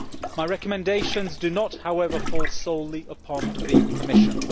My recommendations do not, however, fall solely upon the Commission.